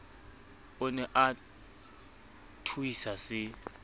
o ne a thuisa se